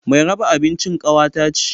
Mai raba abincin kawata ce